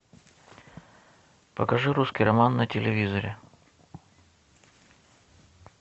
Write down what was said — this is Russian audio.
покажи русский роман на телевизоре